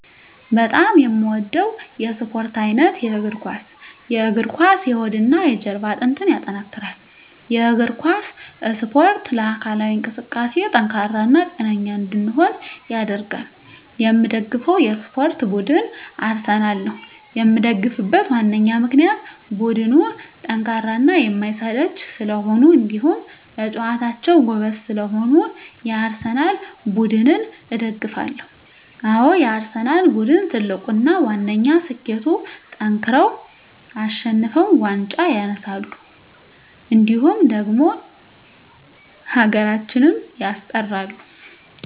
በጣም የምወደው የስፓርት አይነት የእግር ኳስ። የእግር ኳስ የሆድና የጀርባ አጥንትን ያጠነክራል። የእግር ኳስ እስፖርት ለአካላዊ እንቅስቃሴ ጠንካራ እና ጤነኛ እንድንሆን ያደርጋል። የምደግፈው የስፓርት ቡድን አርሰናል ነው። የምደግፍበት ዋነኛ ምክንያት ቡድኑ ጠንካራና የማይሰለች ስለሆኑ እንዲሁም በጨዋታቸው ጎበዝ ስለሆኑ የአርሰናል ቡድንን እደግፋለሁ። አዎ የአርሰናል ቡድን ትልቁና ዋነኛ ስኬቱጠንክረው አሸንፈው ዋንጫ ያነሳሉ እንዲሁም ደግሞ ሀገራችንም ያስጠራሉ።